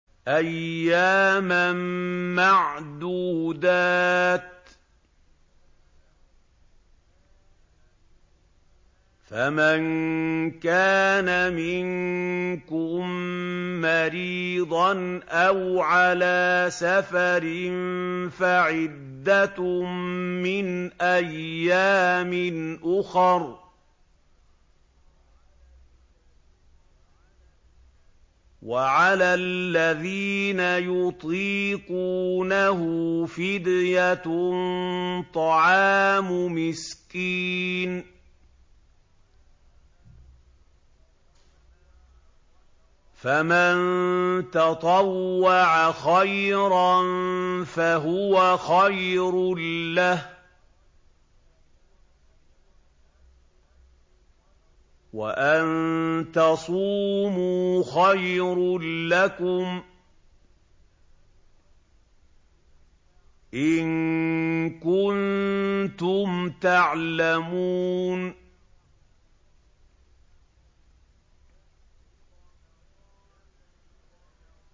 أَيَّامًا مَّعْدُودَاتٍ ۚ فَمَن كَانَ مِنكُم مَّرِيضًا أَوْ عَلَىٰ سَفَرٍ فَعِدَّةٌ مِّنْ أَيَّامٍ أُخَرَ ۚ وَعَلَى الَّذِينَ يُطِيقُونَهُ فِدْيَةٌ طَعَامُ مِسْكِينٍ ۖ فَمَن تَطَوَّعَ خَيْرًا فَهُوَ خَيْرٌ لَّهُ ۚ وَأَن تَصُومُوا خَيْرٌ لَّكُمْ ۖ إِن كُنتُمْ تَعْلَمُونَ